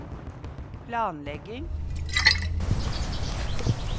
planlegging